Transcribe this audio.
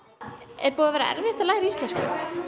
er búið að vera erfitt að læra íslensku